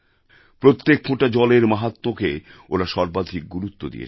প্রত্যেক ফোঁটা জলের মাহাত্ম্যকে ওঁরা সর্বাধিক গুরুত্ব দিয়েছেন